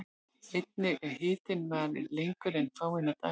Einnig ef hitinn varir lengur en fáeina daga.